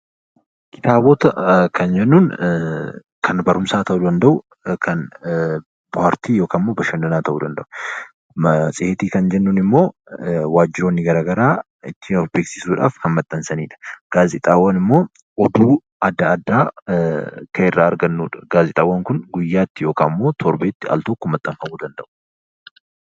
Kitaabota kan jennuun kan barumsaa ta'uu danda'u kan paartii yookiin bakka bashannanaa ta'uu danda'u. Matseetii kan jennuun immoo wantoonni garaagaraa ittiin of beeksisuuf kan maxxansanidha. Gaazexaawwan immoo oduu adda addaa kan irraa argannudha. Gaazexaawwan Kun guyyaatti yookaan torbeetti altokko maxxanfamuu danda'u .